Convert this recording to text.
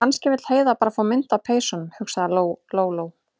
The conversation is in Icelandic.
En kannski vill Heiða bara fá mynd af peysunum, hugsaði Lóa- Lóa.